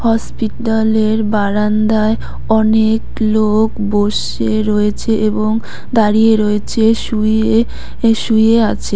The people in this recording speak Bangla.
হসপিটালের বারান্দায় অনেক লোক বসে রয়েছে এবং দাঁড়িয়ে রয়েছে শুয়ে শুয়ে আছে।